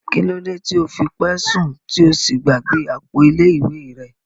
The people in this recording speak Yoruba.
Kilode ti o fi pẹ sun ti o sí gbàgbé àpò ilé ìwé rẹ?